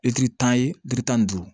tan ye litiri tan ni duuru